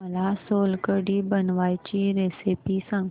मला सोलकढी बनवायची रेसिपी सांग